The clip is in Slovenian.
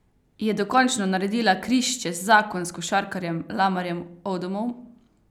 Je dokončno naredila križ čez zakon s košarkarjem Lamarjem Odomom?